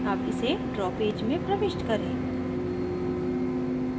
अब इसे draw page में प्रविष्ट करें